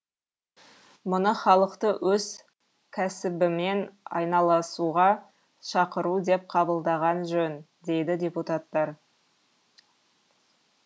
мұны халықты өз кәсібімен айналысуға шақыру деп қабылдаған жөн дейді депутаттар